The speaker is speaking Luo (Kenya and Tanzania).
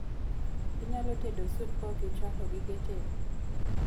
Inyalo tedo sup kaokichwako gige tedo?